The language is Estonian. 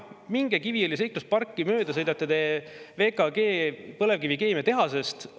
Minge Kiviõli seiklusparki, mööda sõidate VKG põlevkivikeemia tehasest.